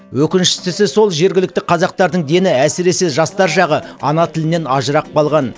өкініштісі сол жергілікті қазақтардың дені әсіресе жастар жағы ана тілінен ажырап қалған